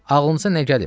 Ağlınıza nə gəlir?